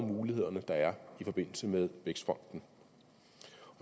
muligheder der er i forbindelse med vækstfonden